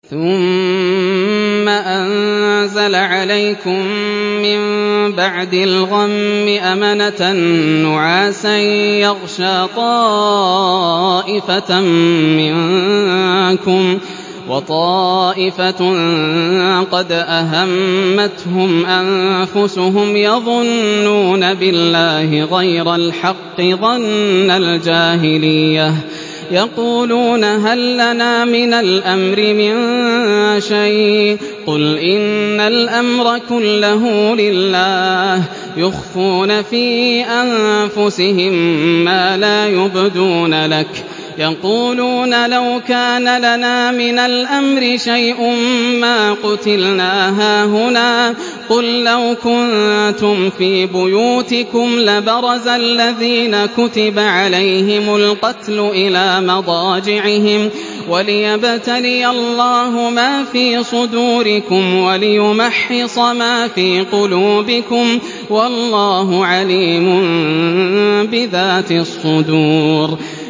ثُمَّ أَنزَلَ عَلَيْكُم مِّن بَعْدِ الْغَمِّ أَمَنَةً نُّعَاسًا يَغْشَىٰ طَائِفَةً مِّنكُمْ ۖ وَطَائِفَةٌ قَدْ أَهَمَّتْهُمْ أَنفُسُهُمْ يَظُنُّونَ بِاللَّهِ غَيْرَ الْحَقِّ ظَنَّ الْجَاهِلِيَّةِ ۖ يَقُولُونَ هَل لَّنَا مِنَ الْأَمْرِ مِن شَيْءٍ ۗ قُلْ إِنَّ الْأَمْرَ كُلَّهُ لِلَّهِ ۗ يُخْفُونَ فِي أَنفُسِهِم مَّا لَا يُبْدُونَ لَكَ ۖ يَقُولُونَ لَوْ كَانَ لَنَا مِنَ الْأَمْرِ شَيْءٌ مَّا قُتِلْنَا هَاهُنَا ۗ قُل لَّوْ كُنتُمْ فِي بُيُوتِكُمْ لَبَرَزَ الَّذِينَ كُتِبَ عَلَيْهِمُ الْقَتْلُ إِلَىٰ مَضَاجِعِهِمْ ۖ وَلِيَبْتَلِيَ اللَّهُ مَا فِي صُدُورِكُمْ وَلِيُمَحِّصَ مَا فِي قُلُوبِكُمْ ۗ وَاللَّهُ عَلِيمٌ بِذَاتِ الصُّدُورِ